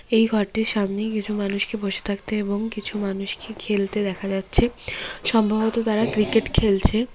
এই ঘরটির সামনে কিছু মানুষকে বসে থাকতে এবং কিছু মানুষকে খেলতে দেখা যাচ্ছে সম্ভবত তারা ক্রিকেট খেলছে।